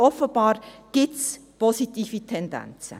Offenbar gibt es positive Tendenzen.